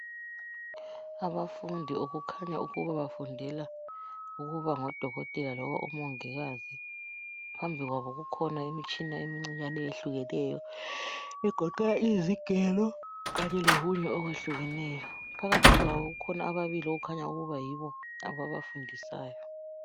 Abafundi okukhanya ukuba bafundela ukuba ngodokotela loba omongikazi phambi kwabo kukhona imitshina imkncinyane eyehlukeneyo egoqela izigelo Kanye lokunye okwehlukeneyo phakathi kwabo kukhona ababili okukhanya ukuthi yibo ababafundisayo